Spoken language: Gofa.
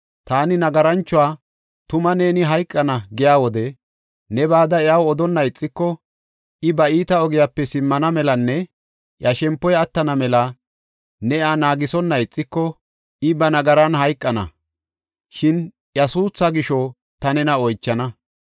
Taani nagaranchuwa, ‘Tuma neeni hayqana’ giya wode, ne bada iyaw odonna ixiko, I ba iita ogiyape simmana melanne iya shempoy attana mela ne iya naagisonna ixiko, I ba nagaran hayqana; shin iya suutha gisho ta nena oychana.